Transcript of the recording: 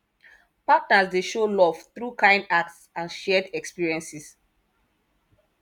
partners dey show love through kind acts and shared experiences